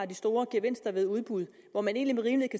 de store gevinster ved udbud at man egentlig med